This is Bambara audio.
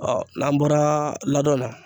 n'an bɔra ladon na